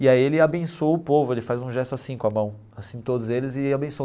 E aí ele abençoa o povo, ele faz um gesto assim com a mão, assim todos eles e abençoam.